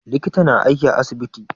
Likita na aiki a asibiti